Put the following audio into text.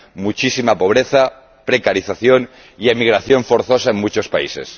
muchísima pobreza, precarización y emigración forzosa en muchos países.